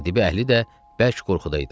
Qayadibi əhli də bərk qorxuda idi.